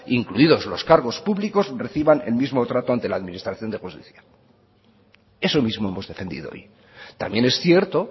incluidos los cargos públicos reciban el mismo trato ante la administración de eso mismo hemos defendido hoy también es cierto